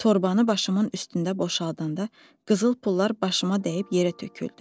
Torbanı başımın üstündə boşaldanda qızıl pullar başıma dəyib yerə töküldü.